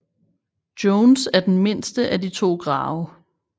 Joans er den mindste af de to grave